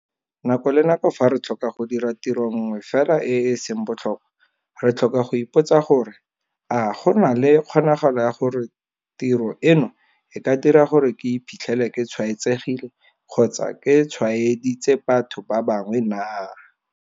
Nako le nako fa re tlhoka go dira tiro nngwe fela e e seng botlhokwa, re tlhoka go ipotsa gore - a go na le kgonagalo ya gore tiro eno e ka dira gore ke iphitlhele ke tshwaetsegile kgotsa ke tshwaeditse batho ba bangwe naa?